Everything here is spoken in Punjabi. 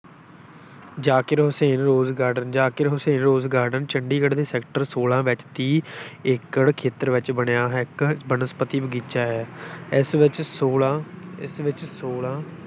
Zakir Hussain rose garden Zakir Hussain rose garden Chandigarh ਦੇ sector ਛੋਲਾਂ ਵਿੱਚ ਤੀਹ ਏਕੜ ਖੇਤਰ ਵਿੱਚ ਬਣਿਆ ਇੱਕ ਬਨਸਪਤੀ ਬਾਗੀਚਾ ਹੈ ਇਸ ਵਿੱਚ ਛੋਲਾਂ ਇਸ ਵਿੱਚ ਛੋਲਾਂ